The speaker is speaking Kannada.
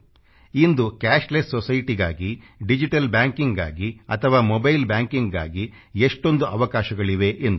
ಇಂದು ಕ್ಯಾಶ್ಲೆಸ್ SOCIETYಗಾಗಿ ಡಿಜಿಟಲ್ BANKINGಗಾಗಿ ಅಥವಾ ಮೊಬೈಲ್ BANKINGಗಾಗಿ ಎಷ್ಟೊಂದು ಅವಕಾಶಗಳಿವೆ ಎಂದು